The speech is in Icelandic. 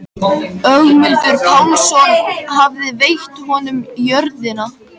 Ögmundur Pálsson hafði veitt honum jörðina.